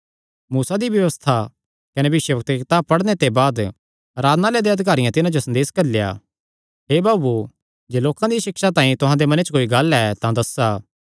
मूसा दी व्यबस्था कने भविष्यवक्ता दी कताब पढ़णे ते बाद आराधनालय देयां अधिकारियां तिन्हां जो संदेसा घल्लेया हे भाऊओ जे लोकां दियां सिक्षा तांई तुहां दे मने च कोई गल्ल ऐ तां दस्सा